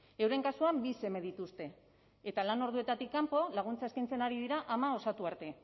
euren kasuan bi seme dituzte eta lan orduetatik kanpo laguntza eskaintzen ari dira ama osatu arte